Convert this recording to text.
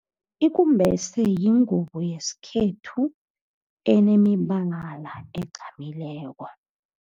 Ikumbese yingubo yesikhethu enemibala egqamileko.